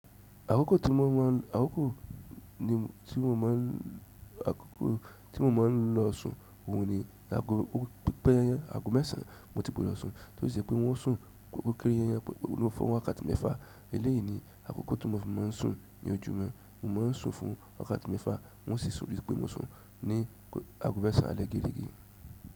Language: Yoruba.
Àkókò tí mo máa ń, àkókò ni tí mo máa ń, àkókò tí mo máa ń lo sùn òùn ni ààgò, pípẹ́ yànyàn ààgò mẹ́sàn-án mo ti gbọdọ̀ sùn. Toṣì jẹpé wọ́n sùn, ó kéré yànyàn, mo fọwọ́ wọn wààkátí mẹ́fà. Eléyìí ni àkókò tí mo fi máa ń sùn ní ojúùmọ, mo máa ń sùn fún wààkátí mẹ́fà wọ́n sì sùn rí pé mo sùn ní ààgò mẹ́sàn-án alẹ́ gèrègè.